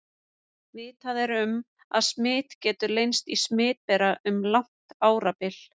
Vitað er um, að smit getur leynst í smitbera um langt árabil.